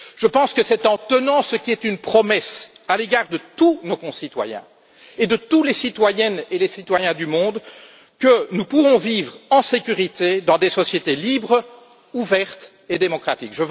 Je pense que c'est en tenant ce qui était une promesse à l'égard de tous nos concitoyens et de tous les citoyennes et les citoyens du monde, que nous pourrons vivre en sécurité dans des sociétés libres, ouvertes et démocratiques.